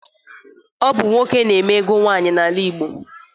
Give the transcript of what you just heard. Ọ bụ nwoke na-eme ego nwaanyị n'omenala Igbo.